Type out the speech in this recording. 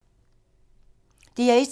DR1